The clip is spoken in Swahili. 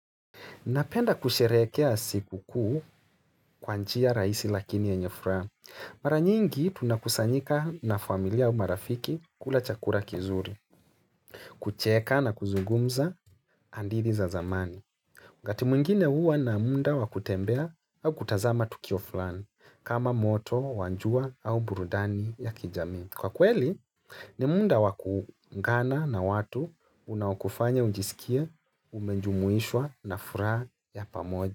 Napenda kusherehekea siku kuu kwa njia rahisi lakini yenye furaha. Mara nyingi tunakusanyika na familia ua marafiki kula chakula kizuri, kucheka na kuzungumza hadithi za zamani. Wakati mwingine huwa na muda wa kutembea au kutazama tukio fulani kama moto, wa jua au burudani ya kijamii. Kwa kweli ni muda wakuungana na watu unaokufanya ujisikia umejumuishwa na furaha ya pamoja.